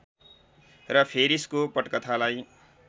र फेरिसको पटकथालाई